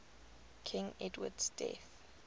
king edward's death